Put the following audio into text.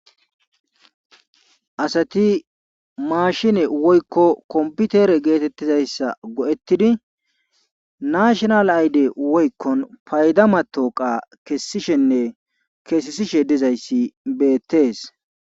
Asati maashine woykko komppitere geetettizayssa go7ettidi naashinaal ayde woykko oayda mattooqa kessishenne kesesishe dizayssi beettees.